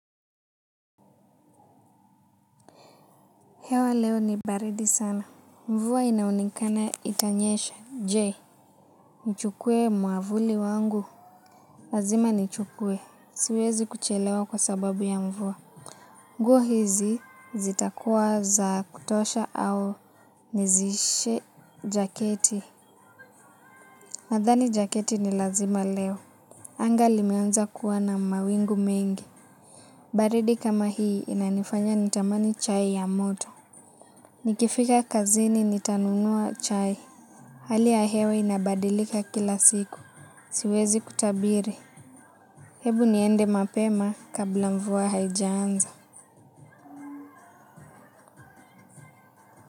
Hewa leo ni baridi sana. Mvua inaonekana itanyesha. Je, nichukue mwavuli wangu. Lazima nichukue. Siwezi kuchelewa kwa sababu ya mvua. Nguo hizi zitakuwa za kutosha au nizishe jaketi. Nadhani jaketi ni lazima leo. Anga limeanza kuwa na mawingu mengi. Baridi kama hii inanifanya nitamani chai ya moto. Nikifika kazini nitanunua chai. Hali ya hewe inabadilika kila siku. Siwezi kutabiri. Hebu niende mapema kabla mvua haijanza.